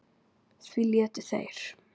Því létu þeir